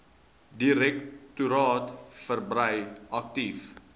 direktoraat verbrei aktief